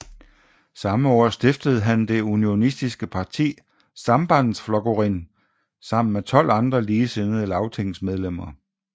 Samme år stiftede han det unionistiske parti Sambandsflokkurin sammen med tolv andre ligesindede lagtingsmedlemmer